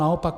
Naopak.